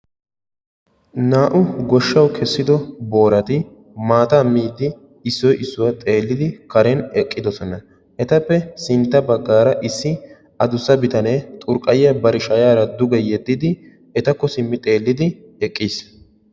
Naa"u goshshawu kessido boorati maataa miiddi issoyi issuwa xeellidi karen eqqidosona etappe sintta baggaara issi adussa bitanee xorqqayyiya bari shayaara duge yeddidi etakko simmi xeellidi eqqis.